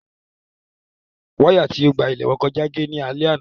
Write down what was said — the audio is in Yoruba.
Wáyà tí ó gba ilé wọn kọjá gé ní alẹ́ àná.